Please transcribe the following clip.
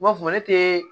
U b'a fɔ ne te